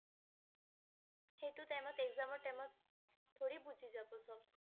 সেইটো time ত exam ৰ time ত थोड़ी বুজি যাব সব